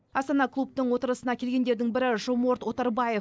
астана клубтың отырысына келгендердің бірі жоморт оторбаев